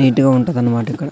Neat గా ఉంటదన్నమాట ఇక్కడ.